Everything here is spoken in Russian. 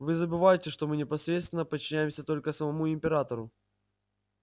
вы забываете что мы непосредственно подчиняемся только самому императору